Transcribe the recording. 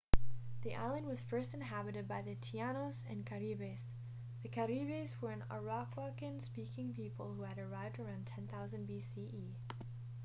the island was first inhabited by the taínos and caribes. the caribes were an arawakan-speaking people who had arrived around 10,000 bce